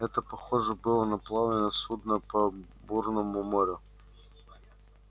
это похоже было на плавание судна по бурному морю